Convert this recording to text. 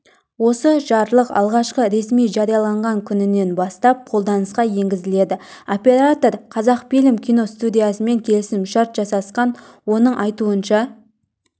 осы жарлық алғашқы ресми жарияланған күнінен бастап қолданысқа енгізіледі оператор қазақфильм киностудиясымен келісім-шарт жасасқан оның айтуынша